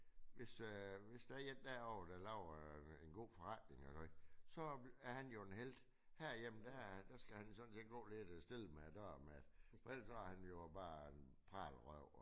Hvis øh der er en derovre der laver en god forretning eller noget så er han jo en helt. Herhjemme der der skal han sådan set gå lidt øh stille med det ellers er han jo bare en pralerøv